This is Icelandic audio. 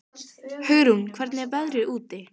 Hugrún, hvernig er veðrið úti?